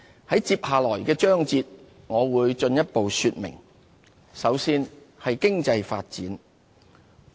在接下來的章節裏，我會進一步說明。